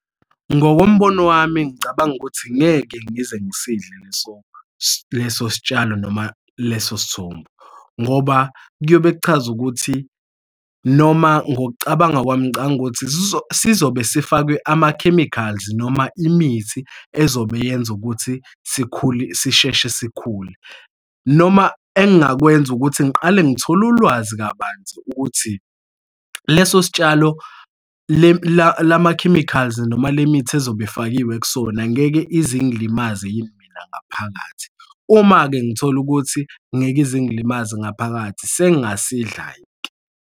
Ngokombono wami ngicabanga ukuthi ngeke ngize ngisidle leso, leso sitshalo noma leso sithombo, ngoba kuyobe kuchaza ukuthi noma ngokucabanga kwami ngicabanga ukuthi sizobe sifakwe ama-chemicals noma imithi ezobe yenza ukuthi sikhule sisheshe sikhule. Noma engakwenza ukuthi ngiqale ngithole ulwazi kabanzi ukuthi leso sitshalo lama-chemicals noma le mithi ezobe ifakiwe kusona angeke ize ingilimaze yini mina ngaphakathi? Uma-ke ngithola ukuthi ngeke ize ingilimaze ngaphakathi sengasidla-ke.